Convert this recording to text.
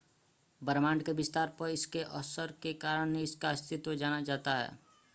ब्रह्मांड के विस्तार पर इसके असर के कारण ही इसका अस्तित्व जाना जाता है